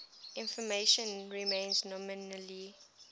information remains nominally